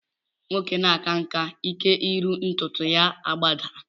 Nwoke na-aka nkà, ike iru ntụtụ ya agbadaa